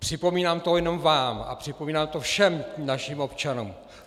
Připomínám to nejenom vám, ale připomínám to všem našim občanům.